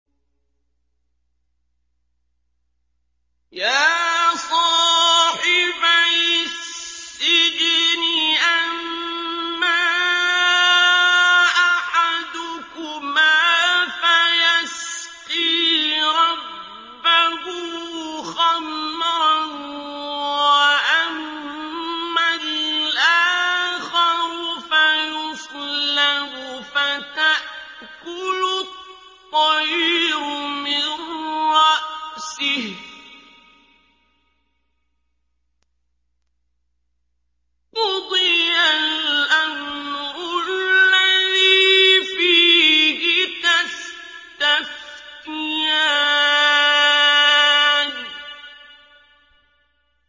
يَا صَاحِبَيِ السِّجْنِ أَمَّا أَحَدُكُمَا فَيَسْقِي رَبَّهُ خَمْرًا ۖ وَأَمَّا الْآخَرُ فَيُصْلَبُ فَتَأْكُلُ الطَّيْرُ مِن رَّأْسِهِ ۚ قُضِيَ الْأَمْرُ الَّذِي فِيهِ تَسْتَفْتِيَانِ